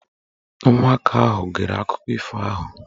Ụmụaka ahụ gere akụkọ ifo ahụ.